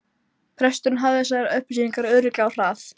Presturinn hafði þessar upplýsingar örugglega á hrað